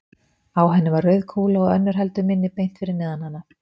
Á henni var rauð kúla og önnur heldur minni beint fyrir neðan hana.